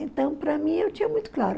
Então, para mim, eu tinha muito claro.